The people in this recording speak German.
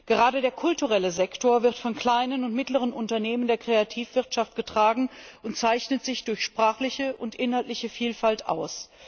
Gerade der kulturelle Sektor wird von kleinen und mittleren Unternehmen der Kreativwirtschaft getragen und zeichnet sich durch sprachliche und inhaltliche Vielfalt aus.